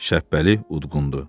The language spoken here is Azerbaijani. Şəhbəli udqundu.